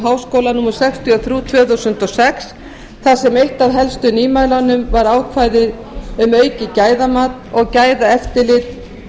háskóla númer sextíu og þrjú tvö þúsund og sex þar sem eitt af helstu nýmælunum var ákvæði um aukið gæðamat og gæðaeftirlit